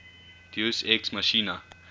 deus ex machina